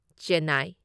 Chennai